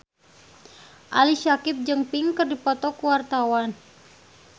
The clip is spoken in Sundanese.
Ali Syakieb jeung Pink keur dipoto ku wartawan